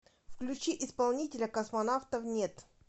включи исполнителя космонавтов нет